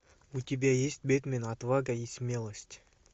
у тебя есть бэтмен отвага и смелость